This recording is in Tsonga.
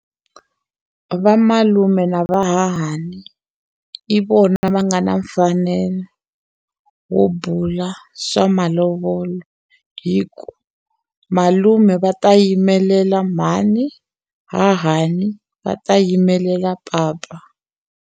Vamalume na vahahani i vona va nga na mfanelo wo bula swa malovolo hi ku malume va ta yimelela mhani hahani va ta yimelela papa.